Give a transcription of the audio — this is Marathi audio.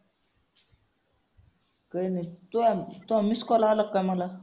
काही नाही. तुला miss call आला का मला?